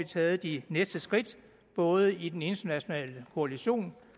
taget de næste skridt både i den internationale koalition